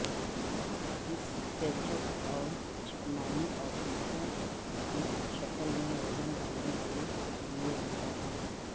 اس ketchup اور چکنائی اوشیشوں کی شکل میں وزن ڈالنے کے لئے رہتا ہے